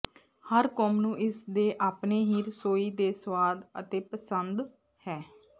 ਹਰ ਕੌਮ ਨੂੰ ਇਸ ਦੇ ਆਪਣੇ ਹੀ ਰਸੋਈ ਦੇ ਸਵਾਦ ਅਤੇ ਪਸੰਦ ਹੈ